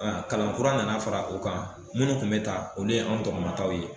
Kalankura nana fara o kan munnu tun bɛ ta o ye an dɔgɔmataw ye